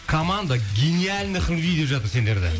команда гениальных деп жатыр сендерді